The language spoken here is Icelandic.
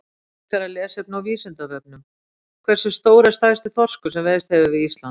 Frekara lesefni á Vísindavefnum: Hversu stór er stærsti þorskur sem veiðst hefur við Ísland?